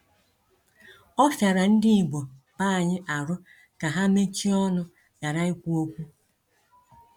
Ọ fiara ndị igbo b'anyi arụ ka ha mechie ọnụ ghara ikwu okwu.